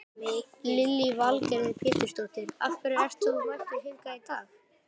Lillý Valgerður Pétursdóttir: Af hverju ert þú mættur hingað í dag?